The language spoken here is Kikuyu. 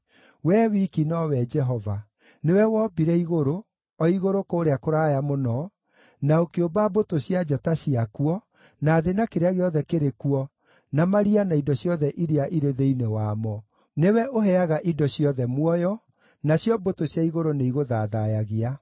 Wee wiki nowe Jehova. Nĩwe wombire igũrũ, o igũrũ kũrĩa kũraya mũno, na ũkĩũmba mbũtũ cia njata ciakuo, na thĩ na kĩrĩa gĩothe kĩrĩ kuo, na maria na indo ciothe iria irĩ thĩinĩ wamo. Nĩwe ũheaga indo ciothe muoyo, nacio mbũtũ cia igũrũ nĩigũthathaiyagia.